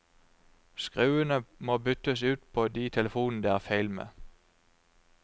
Skruene må byttes ut på de telefonene det er feil med.